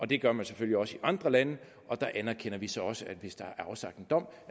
det gør man selvfølgelig også i andre lande der anerkender vi så så at hvis der er afsagt en dom